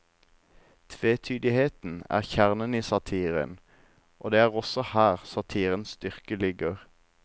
Tvetydigheten er kjernen i satiren, og det er også her satirens styrke ligger.